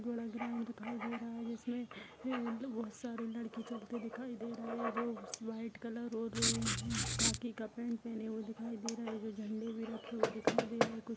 कुछ बड़ा ग्राउंड दिखाई दे रहा है जिसमे ऐ बहोत सारे लड़के चलते दिखाई दे रहे है वाइट कलर और र खाकी का पेन्ट पेहने हुए दिखाई दे रहे है जो झंडे भी रखे हुए दिखाई दे रहे है।